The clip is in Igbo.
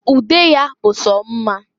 Ude ya bụ so mma.